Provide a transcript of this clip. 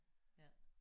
Ja